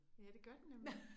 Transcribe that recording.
Ja det gør den nemlig